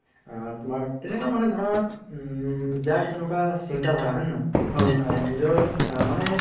আ তুমাৰ তেনেকা মানে ধৰা উম যাৰ যেনেকুৱা চিন্তা ধাৰা হয় নে নহয় নিজৰ মানে